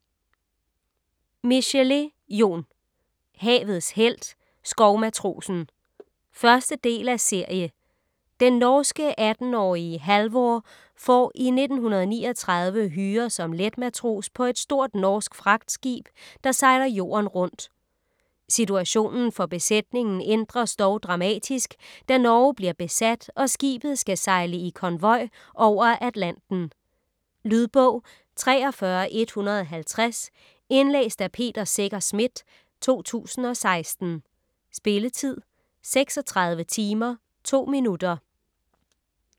Michelet, Jon: Havets helt - skovmatrosen 1. del af serie. Den norske 18-årige Halvor får i 1939 hyre som letmatros på et stort norsk fragtskib, der sejler jorden rundt. Situationen for besætningen ændres dog dramatisk, da Norge bliver besat og skibet skal sejle i konvoj over Atlanten. . Lydbog 43150 Indlæst af Peter Secher Schmidt, 2016. Spilletid: 36 timer, 2 minutter.